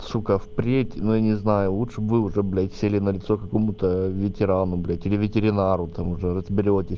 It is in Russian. сука впредь но я не знаю лучше бы вы уже блядь сели на лицо какому-то ветерану блядь или ветеринару там уже разберёте